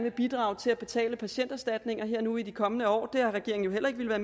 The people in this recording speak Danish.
at bidrage til at betale patienterstatninger her nu i de kommende år det har regeringen jo heller ikke villet